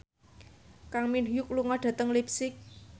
Kang Min Hyuk lunga dhateng leipzig